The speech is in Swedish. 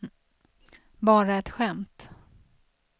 bara ett skämt